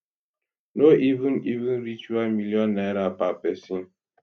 no even even reach one million naira per pesin